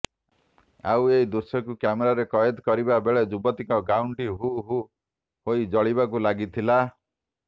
ଆଉ ଏହି ଦୃଶ୍ୟକୁ କ୍ୟାମେରାରେ କଏଦ କରିବା ବେଳେ ଯୁବତୀଙ୍କ ଗାଉନଟି ହୁ ହୁ ହୋଇ ଜଳିବାକୁ ଲାଗିଥିଲା